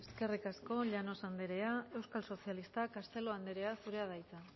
eskerrik asko llanos andrea euskal sozialistak castelo andrea zurea da hitza